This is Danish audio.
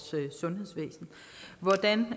sundhedsvæsen hvordan